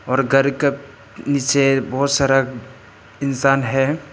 और घर का नीचे बहुत सारा इंसान है।